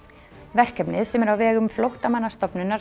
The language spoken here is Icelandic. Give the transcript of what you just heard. verkefnið sem er á vegum Flóttamannastofnunar